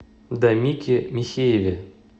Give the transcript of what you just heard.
дамике михееве